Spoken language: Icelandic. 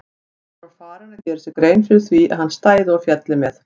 Hann var farinn að gera sér grein fyrir því að hann stæði og félli með